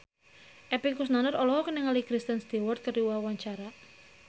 Epy Kusnandar olohok ningali Kristen Stewart keur diwawancara